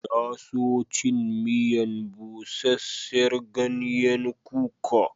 Na so cin miyan buseser ganyen kuka.